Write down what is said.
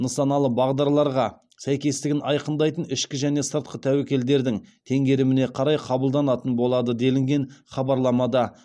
нысаналы бағдарларға сәйкестігін айқындайтын ішкі және сыртқы тәуекелдердің теңгеріміне қарай қабылданатын болады делінген хабарламада